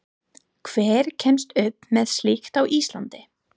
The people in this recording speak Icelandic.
Hver kemst upp með slíkt á Íslandi?